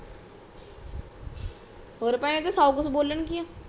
ਹੋਰ ਭੈਣੇ ਸੌ ਕੂਚ ਬੋਲਨ ਗੀ ਆ